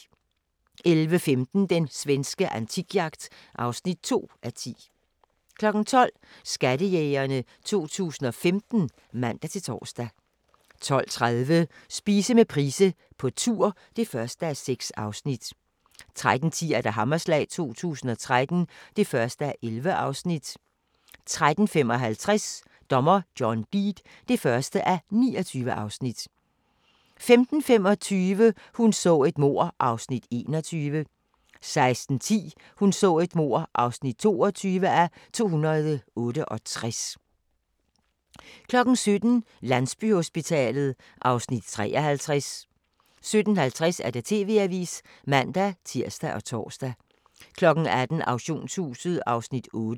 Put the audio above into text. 11:15: Den svenske antikjagt (2:10) 12:00: Skattejægerne 2015 (man-tor) 12:30: Spise med Price på tur (1:6) 13:10: Hammerslag 2013 (1:11) 13:55: Dommer John Deed (1:29) 15:25: Hun så et mord (21:268) 16:10: Hun så et mord (22:268) 17:00: Landsbyhospitalet (Afs. 53) 17:50: TV-avisen (man-tir og tor) 18:00: Auktionshuset (Afs. 8)